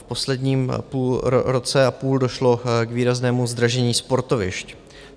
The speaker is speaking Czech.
V posledním roce a půl došlo k výraznému zdražení sportovišť.